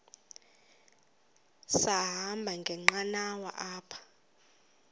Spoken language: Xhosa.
sahamba ngenqanawa apha